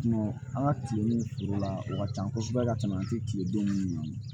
an ka tile ni foro la o ka can kosɛbɛ ka tɛmɛ an ti kile don minnu na